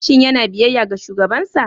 Shin yana biyayya ga shugabansa?